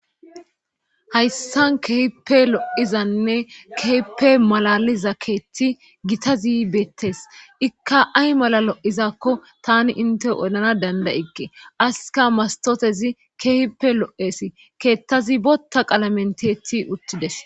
Hayssan kehipe lo'izanne keheppe malaliza keeti gitazi beettes ikka ay mala lo'izakko tani inte odana dandayige aska mastotezi keehippe lo'esi keettazi botta qalamenteeti uttides